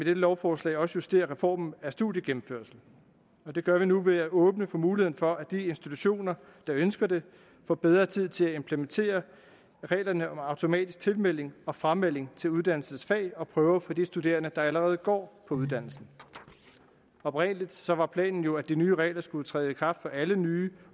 lovforslag også justere reformen af studiegennemførsel og det gør vi nu ved at åbne for muligheden for at de institutioner der ønsker det får bedre tid til at implementere reglerne om automatisk tilmelding og framelding til uddannelsens fag og prøver for de studerende der allerede går på uddannelsen oprindelig var planen jo at de nye regler skulle træde i kraft for alle nye